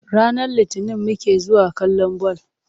Ranar Litinin muke zuwa kallon ball.